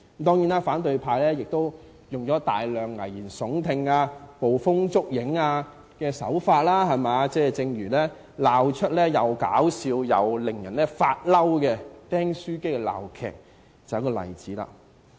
當然，反對派亦以大量危言聳聽、捕風捉影的手法，正如鬧出既可笑又令人發怒的"釘書機"鬧劇，就是一個例子。